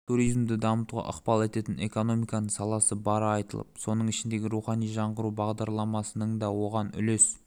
туризмді дамытуға ықпал ететін экономиканың саласы бары айтылып соның ішінде рухани жаңғыру бағдарламасының да оған үлес